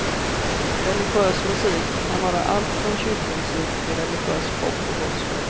Religiös musik kan vara allt från kyrkomusik till religiös pop och gospel.